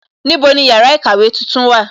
Níbo ni yàrá ìkàwé tuntun wà?